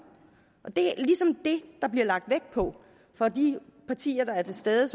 det er ligesom det der bliver lagt vægt på for de partier der er til stede